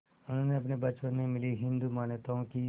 उन्हें अपने बचपन में मिली हिंदू मान्यताओं की